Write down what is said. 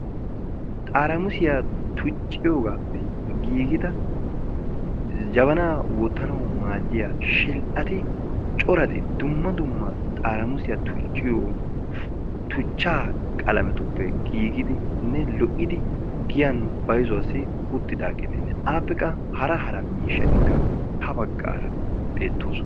Xaramussiyaa tucciyoogappe giigida jabanaa wottanawu maaddiyaa shidhdhati daroti dumma dumma xaramusiyaa tucciyoo tuchchaa qalametuppe giigidinne lo"idi giyaan bayzzuwaassi uttidaage appe qa hara hara miishshatikka ha baggaara beettoosona.